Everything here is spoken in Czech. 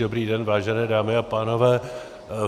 Dobrý den, vážené dámy a pánové.